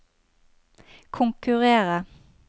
konkurrere